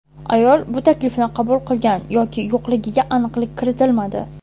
Ayol bu taklifni qabul qilgan yoki yo‘qligiga aniqlik kiritilmadi.